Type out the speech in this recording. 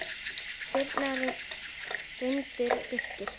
Birna, Reynir og Birgir.